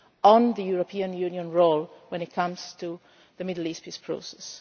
on the European Union's role when it comes to the Middle East Peace Process.